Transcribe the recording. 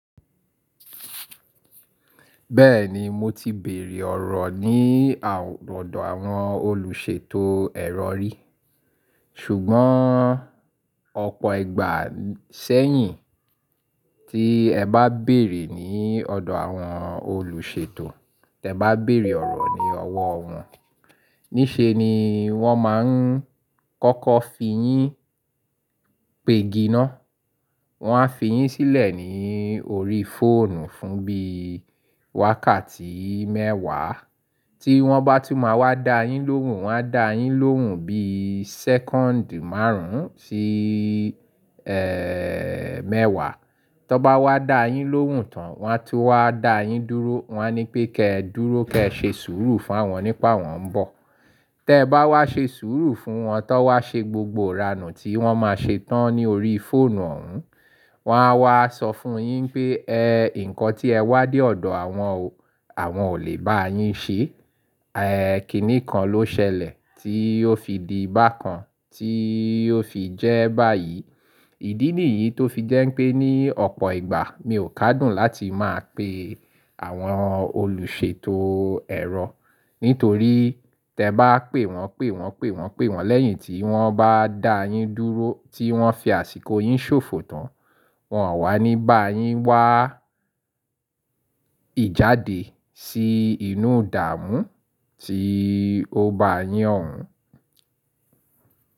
Bẹ́ẹ̀ni mo ti bèèrè ọ̀rọ̀ ní ọ̀dọ̀ àwọn olùṣètò ẹ̀rọ rí. Ṣùgbọ́n ọ̀pọ̀ ìgbà sẹ́yìn, tí ẹ bá bèèrè ní ọ̀dọ̀ àwọn olùṣètò, tí ẹ bá bèèrè ọ̀rọ̀ ní ọwọ́ wọn, níṣe ni wọ́n máa ń kọ́kọ́ fi yín pègi ná. Wọ́n á fi yín sílẹ̀ ní orí fóònù, fún bí i wákàtí mẹ́wàá. Tí wọ́n bá tú máa wá dá yín lóhùn, wọ́n á dá yín lóhùn bí i sẹ́kọ́ǹdì márùn ún sí, ẹ́ẹ́, mẹ́wàá. Tọ́ bá wá dá yín lóhùn tán, wọn á tú wá dá yín dúró. Wọn á ní pé kí ẹ dúró, kí ẹ ṣe sùúrù fún wọn nípa wọ́n ń bọ̀. Tẹ́ ẹ bá wá ṣe sùúrù fún wọn ta, tọ́ wá ṣe gbogbo ìranù tí wọ́n máa ṣe tán ní orí fóònù òun, wọ́n á wá sọ fún yín pé ẹ, nǹkan tí ẹ wádìí ọ̀dọ̀ àwọn o-- àwọn ò lè bá yín ṣe. Ẹ̀ẹ̀, kíni kan ló ṣẹlẹ̀ tí ó fi di bákan, tí ó fi jẹ́ báyìí. Ìdí nìyí tó fi jẹ́ pé ní ọ̀pọ̀ ìgbà mi ò kádùn láti máa pe àwọn olùṣètò ẹ̀rọ. Nítorí tí ẹ bá pè wọ́n, pè wọ́n, pè wọ́n, pè wọ́n lẹ́yìn tí wọ́n bá dá yín dúró, tí wọ́n fi àsìkò yín ṣòfò tán, wọ́n a wá ní bá yín wá ìjáde sí inú ìdààmú, tí ó bá yín òun.